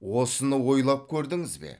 осыны ойлап көрдіңіз бе